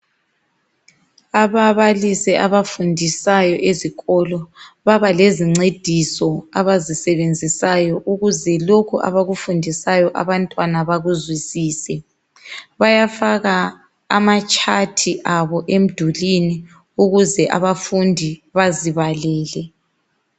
Ababalisi abafundisayo ezikolo ibabalezincediso abazisebenzisayo ukuze lokhu abakufundisayo abantwana bakuzwisise. Bayafaka amatshathi abo emdulwini ukuze abafundi bazibalele.